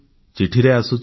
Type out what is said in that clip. ଚିଠିରେ ଆସୁଛି